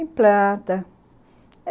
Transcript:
Tem planta.